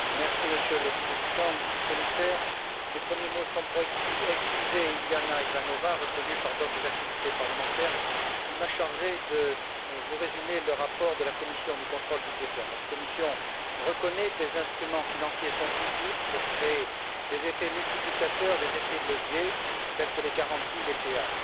Monsieur le Président, Monsieur le Commissaire, mes premiers mots seront pour excuser Iliana Ivanova, retenue par d'autres activités parlementaires, qui m'a chargé de vous résumer le rapport de la commission du contrôle budgétaire. Notre commission reconnaît que les instruments financiers sont utiles pour créer des effets multiplicateurs, des effets de levier, tels que les garanties et les péages.